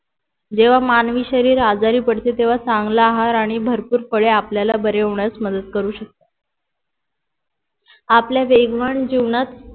जेव्हा मानवी शरीर आजारी पडते तेव्हा चांगला आहार आणि भरपूर फळे आपल्याला बरे होण्यास मदत करू शकतात आपल्या वेगवान जीवनात